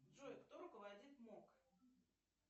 джой кто руководит мок